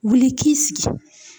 Wuli i k'i sigi.